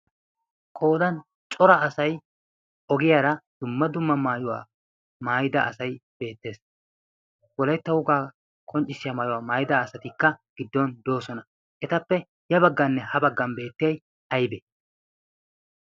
Qoodan cora asai ogiyaara dumma dumma maayuwaa maayida asai beettees wolettaugaa konccissiyaa maayuwaa maayida asatikka giddon doosona etappe ya baggaanne ha baggan beettiyai aybe?